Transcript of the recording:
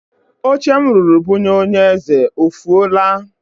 Oche m rụrụ bunye onye eze o fuola?